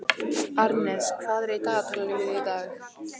Arnes, hvað er í dagatalinu mínu í dag?